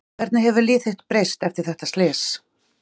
Hvernig hefur líf þitt breyst eftir þetta slys?